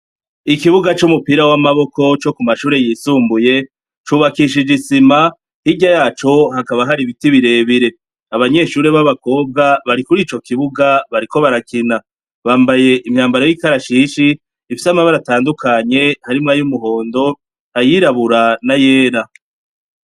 Ikibuga c'umupira w'amaboko co ku mashure yisumbuye cubakishije isima, hirya yaco hakaba hari ibiti birebire. Abanyeshure b'abakobwa bari kuri ico kibuga bariko barakina, bambaye imyambaro y'ikashishi, ifise amabara atandukanye harimwo ay'umuhondo, ayirabura n'ayera.